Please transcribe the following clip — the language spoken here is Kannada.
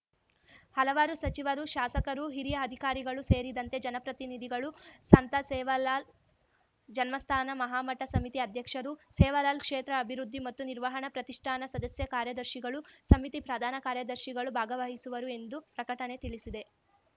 ಹಲವಾರು ಸಚಿವರು ಶಾಸಕರು ಹಿರಿಯ ಅಧಿಕಾರಿಗಳು ಸೇರಿದಂತೆ ಜನಪ್ರತಿನಿಧಿಗಳು ಸಂತ ಸೇವಾಲಾಲ್‌ ಜನ್ಮಸ್ಥಾನ ಮಹಾಮಠ ಸಮಿತಿ ಅಧ್ಯಕ್ಷರು ಸೇವಾಲಾಲ್‌ ಕ್ಷೇತ್ರ ಅಭಿವೃದ್ಧಿ ಮತ್ತು ನಿರ್ವಹಣಾ ಪ್ರತಿಷ್ಠಾನ ಸದಸ್ಯ ಕಾರ್ಯದರ್ಶಿಗಳು ಸಮಿತಿ ಪ್ರಧಾನ ಕಾರ್ಯದರ್ಶಿಗಳು ಭಾಗವಹಿಸುವರು ಎಂದು ಪ್ರಕಟಣೆ ತಿಳಿಸಿದೆ